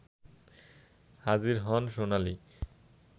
হাজির হন সোনালি